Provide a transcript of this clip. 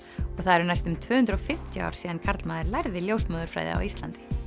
og það eru næstum tvö hundruð og fimmtíu ár síðan karlmaður lærði ljósmóðurfræði á Íslandi